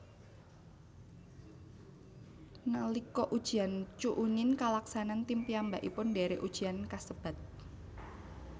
Nalika ujian chuunin kalaksanan tim piyambakipun ndherek ujian kasebat